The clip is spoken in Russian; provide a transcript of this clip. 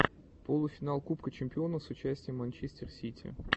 полуфинал кубка чемпионов с участием манчестер сити